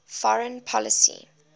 foreign policy